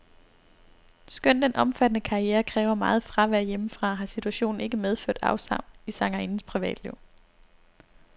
Skønt den omfattende karriere kræver meget fravær hjemmefra, har situationen ikke medført afsavn i sangerindens privatliv.